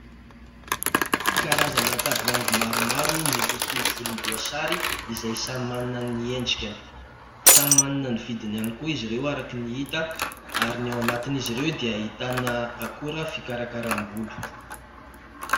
Karazana tavoahangy maromaro, miloko volomboasary izay samy manana ny endrikany. Samy manana ny vidiny ihany koa izy ireo araka ny hita, ary ny ao anatin'izy ireo dia ahitana akora fikarakram-bolo.